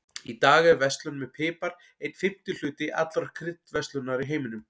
Í dag er verslun með pipar einn fimmti hluti allrar kryddverslunar í heiminum.